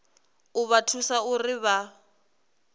u vha thusa uri vha